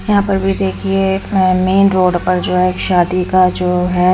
यहां पर भी देखिए मेन रोड पर जो है शादी का जो है--